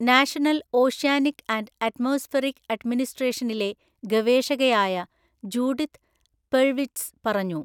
National oceanic and atmospheric അഡ്മിനിസ്‌ട്രേഷനിലെ ഗവേഷകയായ Judith Perlwitz പറഞ്ഞു.